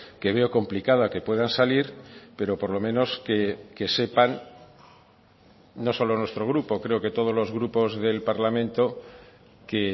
que veo complicada que puedan salir pero por lo menos que sepan no solo nuestro grupo creo que todos los grupos del parlamento que